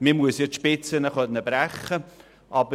Man muss die Spitzen ja brechen können.